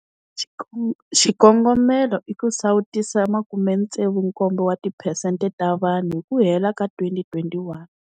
Xikongomelo i ku sawutisa 67 wa ti phesente ta vanhu hi ku hela ka 2021.